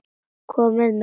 Komiði með!